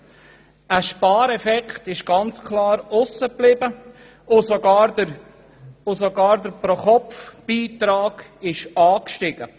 Ein Spareffekt blieb ganz klar aus, und der Pro-Kopf-Beitrag stieg sogar.